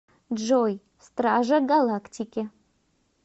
джой стража галактики